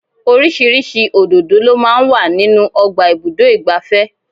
Oríṣiríṣi òdòdó lọ máa ń wà nínú ọgbà ibùdó igbàfẹ́.